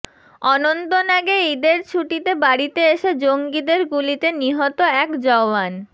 অনন্তনাগে ইদের ছুটিতে বাড়িতে এসে জঙ্গিদের গুলিতে নিহত এক জওয়ান